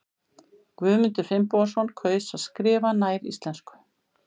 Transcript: Guðmundur Finnbogason kaus að skrifa nær íslensku.